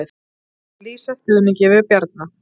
Lýsa stuðningi við Bjarna